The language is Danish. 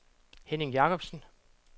Henning Jacobsen